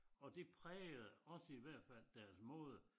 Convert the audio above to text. Og det prægede også i hvert fald deres måde